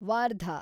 Wardha